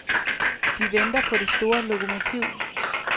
De venter på det store lokomotiv.